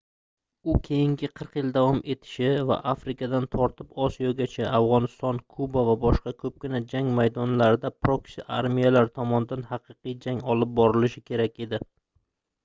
u keyingi 40 yil davom etishi va afrikadan tortib osiyogacha afgʻoniston kuba va boshqa koʻpgina jang maydonlarida proxi armiyalar tomonidan haqiqiy jang olib borilishi kerak edi